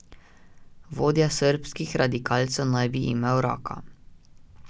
Vodja srbskih radikalcev naj bi imel raka.